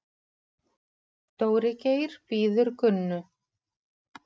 Dóri Geir bíður Gunnu.